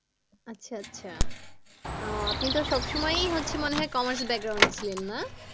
আচ্ছা আচ্ছা আহ আপনি তো সব সময়ই হচ্ছে মনে হয় commerce এ ছিলে না?